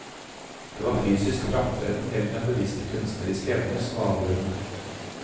Det var fysisk fremtreden heller enn bevisste kunstneriske evner som var avgjørende.